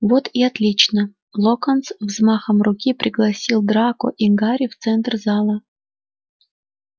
вот и отлично локонс взмахом руки пригласил драко и гарри в центр зала